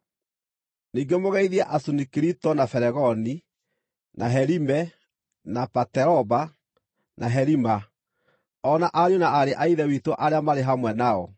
Ningĩ mũgeithie Asunikirito, na Felegoni, na Herime, na Pateroba, na Herima, o na ariũ na aarĩ a Ithe witũ arĩa marĩ hamwe nao.